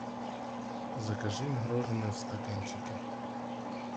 закажи мороженое в стаканчике